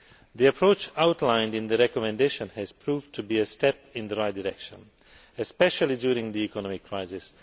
The approach outlined in the recommendation has proved to be a step in the right direction, especially during the economic crisis.